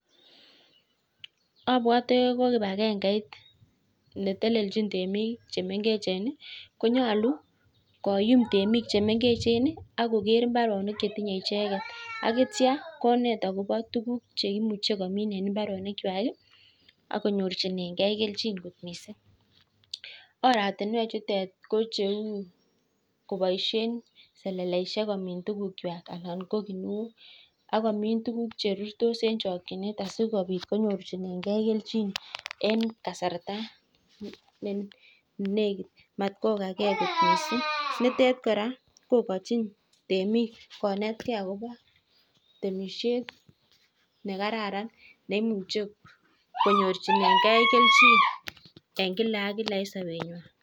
Abwote ko kibagengeit ne telelchin temik Che mengechen ko nyolu koyum temik Che mengechen ak koker mbarenik Che tinye icheget ak yeitya konet akobo tuguk Che imuch komin en mbarenikwak ak konyorchigei kelchin kot mising oratinewechu ko cheu koboisien seleleisiek komin tugukwak anan ko ki nuok ak komin tuguk Che rurtos en chokyinet asikobit konyorchinenge kelchin en kasarta ne negit Mat kogage mising nitet kora kogochin temik konet ge agobo temisiet ne kararan ne Imuche konyorchinengei kelchin en kila ak kila en sobenywan